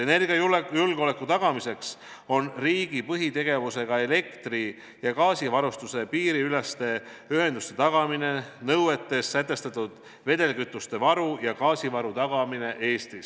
Energiajulgeoleku tagamiseks on riigi põhitegevus elektri- ja gaasivarustuse piiriüleste ühenduste tagamine ning nõuetes sätestatud vedelkütuste varu ja gaasivaru tagamine Eestis.